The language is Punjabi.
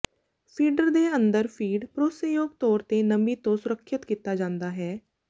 ਫੀਡਰ ਦੇ ਅੰਦਰ ਫੀਡ ਭਰੋਸੇਯੋਗ ਤੌਰ ਤੇ ਨਮੀ ਤੋਂ ਸੁਰੱਖਿਅਤ ਕੀਤਾ ਜਾਂਦਾ ਹੈ